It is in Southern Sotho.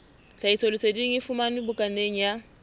tlhahisoleseding e fumanwe bukaneng ya